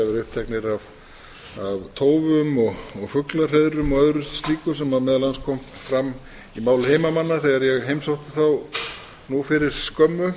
uppteknir af tófum og fuglahreiðrum og öðru slíku sem meðal annars kom fram í máli heimamanna þegar ég heimsótti þá nú fyrir skömmu